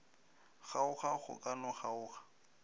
kgaoga go ka no kgaoga